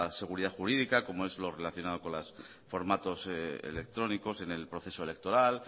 seguridad jurídica como es lo relacionado con los formatos electrónicos en el proceso electoral